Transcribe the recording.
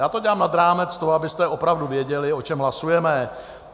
Já to dělám nad rámec toho, abyste opravdu věděli, o čem hlasujeme.